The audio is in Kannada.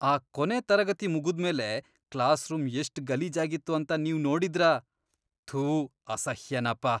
ಆ ಕೊನೆ ತರಗತಿ ಮುಗುದ್ಮೇಲೆ ಕ್ಲಾಸ್ರೂಂ ಎಷ್ಟ್ ಗಲೀಜಾಗಿತ್ತು ಅಂತ ನೀವ್ ನೋಡಿದ್ರಾ? ಥೂ, ಅಸಹ್ಯನಪ.